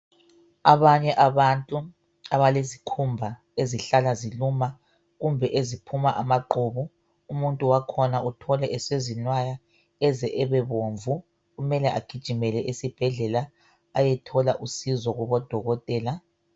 Abanye abantu abalesikhumba ezihlala ziluma kumbe eziphuma amaqhubu . Umuntu wakhona uthole esezinwaya eze ebebomvu . Kumele agijimele esibhedlela .Ayethola usizo kubodokotela .